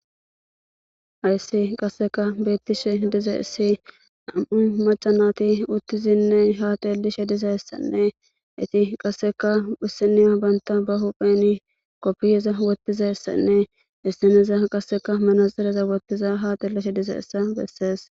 Hayssi qasseka beettishe diza issi nam7i macanati uttizinne haatelishe diza essanne iti qasseka husiniya banta ba hupheni koppiyeza wottiza essanne issaneza qasseka manaxireza wottiza hatelishe dize essa bessees.